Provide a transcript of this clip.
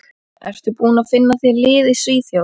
Ertu búinn að finna þér lið í Svíþjóð?